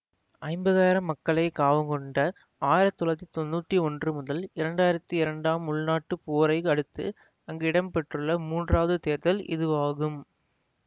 ஐம்பதாயிரம் மக்களை காவு கொண்ட ஆயிரத்தி தொள்ளாயிரத்தி தொன்னூத்தி ஒன்று முதல் இரண்டாயிரத்தி இரண்டாம் உள்நாட்டுப் போரை அடுத்து அங்கு இடம்பெற்றுள்ள மூன்றாவது தேர்தல் இதுவாகும்